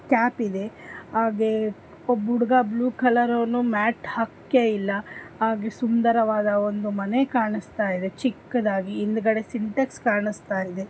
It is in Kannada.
ಕ್ಯಪ್ ಇದೆ ಹಾಗೆ ಒಬ್ಬ ಹುಡುಗ ಬ್ಲೂ ಕಲರ್ ಅವನು ಮ್ಯಾಟ್ ಹಾಕೆಯಿಲ್ಲ ಹಾಗೆ ಸುಂದರವಾದ ಒಂದು ಮನೆ ಕಾನಿಸ್ತಯಿದೆ ಚಿಕ್ಕದಾಗಿ ಹಿಂದಗಡೆ ಸಿಂಟೆಕ್ಸ್ ಕಾಣಿಸ್ತಯಿದೆ.